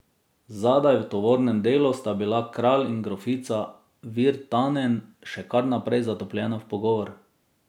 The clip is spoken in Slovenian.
Zadaj v tovornem delu sta bila kralj in grofica Virtanen še kar naprej zatopljena v pogovor.